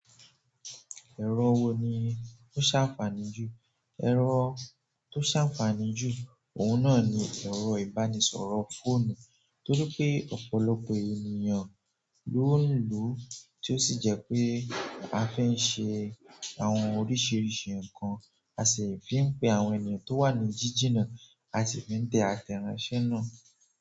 Ẹ̀rọ wo ni ó ṣànfààní jù? Ẹ̀rọ tó ṣàǹfààní jù, ohun náà ni ẹ̀rọ ìbánisọ̀rọ̀ fóònù, torí wípé ọ̀pọ̀lọpọ̀ ènìyàn loun lo tó sì jẹ́ pé a fín ṣe àwọn oríṣiríṣi ǹkan, a sì fín pé àwọn èèyàn tí wà ni jinina, a sì fín tẹ̀ àtẹ̀ránṣẹ́ náà.